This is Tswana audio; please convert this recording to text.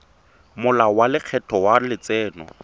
molao wa lekgetho wa letseno